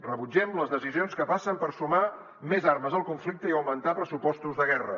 rebut·gem les decisions que passen per sumar més armes al conflicte i augmentar pressu·postos de guerra